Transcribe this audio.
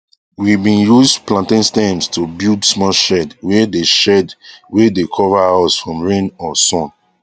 we been use plantain stems to build small shed wae dae shed wae dae cover us from rain or sun